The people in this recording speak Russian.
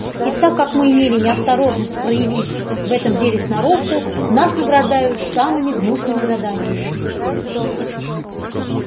и так как мы имели неосторожность проявить в этом деле сноровку нас награждают самыми гнусными заданиями